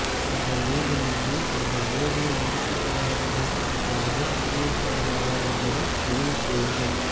நீங்கள் வேண்டுமென்றே உங்கள் ஓவியம் முடிக்கப்படாதது என்பதை முடிவு செய்யலாமா என்பதை முடிவு செய்யுங்கள்